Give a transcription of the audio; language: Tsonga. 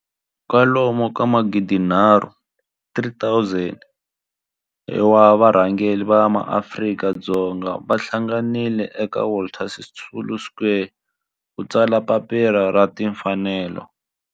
kwalomu ka magidi nharhu 3 000 wa varhangeri va maAfrika-Dzonga va hlanganile eka Walter Sisulu Square ku ta tsala Papila ra Tinfanelo.